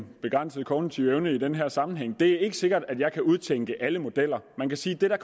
begrænsede kognitive evne i den her sammenhæng det er ikke sikkert at jeg kan udtænke alle modeller man kan sige at det der